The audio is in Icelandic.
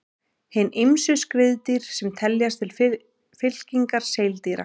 Hin ýmsu skriðdýr sem teljast til fylkingar seildýra.